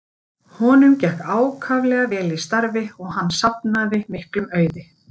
Honum gekk ákaflega vel í starfi og hann safnaði miklum auði.